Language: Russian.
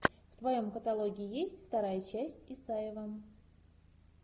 в твоем каталоге есть вторая часть исаева